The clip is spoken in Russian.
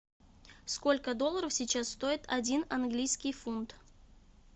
сколько долларов сейчас стоит один английский фунт